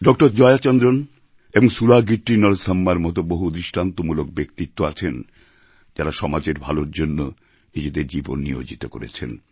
doctor Jaya Chandran এবং সুলাগিট্টি নরসাম্মার মত বহু দৃষ্টান্তমূলক ব্যক্তিত্ব আছেন যাঁরা সমাজের ভালোর জন্য নিজেদের জীবন নিয়োজিত করেছেন